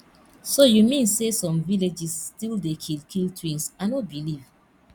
so you mean say some villages still dey kill kill twins i no believe